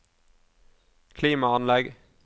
klimaanlegg